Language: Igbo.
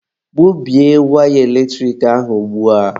Gbubie waya eletrik ahụ ugbua!